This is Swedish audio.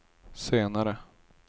senare